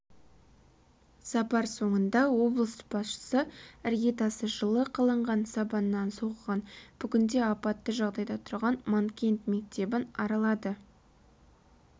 сапар соңында облыс басшысы іргетасы жылы қаланған сабаннан соғылған бүгінде апатты жағдайда тұрған манкент мектебін аралады